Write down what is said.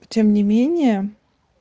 тем не менее